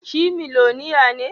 Shi miloniya ne?